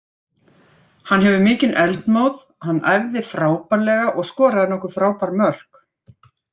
Hann hefur mikinn eldmóð, hann æfði frábærlega og skoraði nokkur frábær mörk.